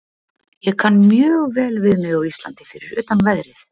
Ég kann mjög vel við mig á Íslandi fyrir utan veðrið.